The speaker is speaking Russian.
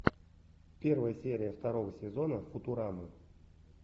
первая серия второго сезона футурамы